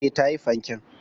E, ta yi fanken.